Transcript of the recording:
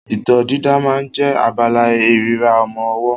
Itọ́ dídà máa ń jẹ́ abala ìríra ọmọ ọwọ́